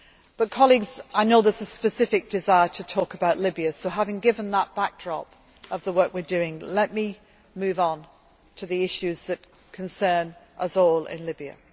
spoken to. But, colleagues, I know there is a specific desire to talk about Libya so, having given that backdrop of the work we are doing, let me move on to the issues that concern us